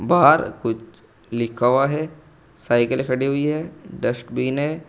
बाहर कुछ लिखा हुआ है साइकिल खड़ी हुई है डस्टबिन है।